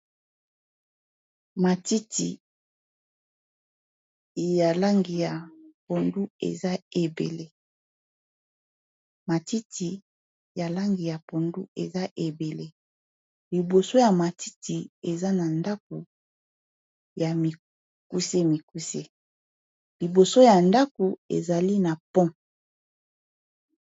Matiti ya langi ya pondu eza ebele liboso ya matiti eza na ndaku ya mikuse mikuse liboso ya ndaku ezali na pont.